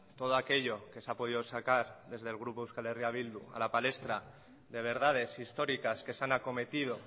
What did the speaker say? todo aquello que se ha podido sacar desde el grupo euskal herria bildu a la palestra de verdades históricas que se han acometido